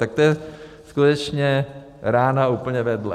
Tak to je skutečně rána úplně vedle.